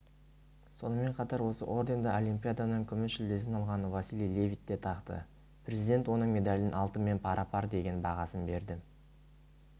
сонымен қатар осы орденді олимпиаданың күміс жүлдесін алған василий левит те тақты президент оның медалін алтынмен пара-пар деген бағасын берді